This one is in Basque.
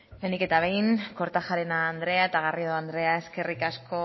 lehenik eta behin kortajarena andrea eta garrido andrea eskerrik asko